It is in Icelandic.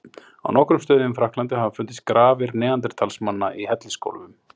Á nokkrum stöðum í Frakklandi hafa fundist grafir neanderdalsmanna í hellisgólfum.